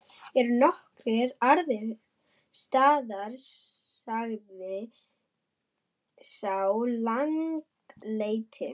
Eru nokkrir aðrir staðir, sagði sá langleiti.